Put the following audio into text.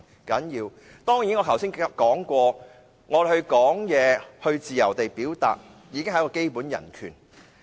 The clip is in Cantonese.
正如我剛才所說，我們可以自由表達意見，已經是基本人權。